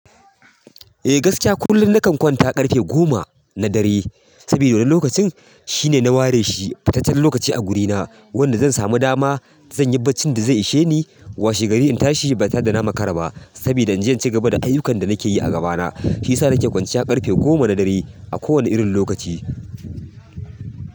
Eh gaskiya kullum nakan kwanta ƙarfe goma na dare sabida lokacin shine na ware shi fitaccen lokaci a gurina wanda zan samu dama zan yi barcin da zai ishe ni. Washe gari in tashi ba tare da na makara ba sabida in je in ci gaba da ayukanda nake yi a gabana shi ya sa nake kwanciya ƙarfe gona na dare a kowani irin lokaci.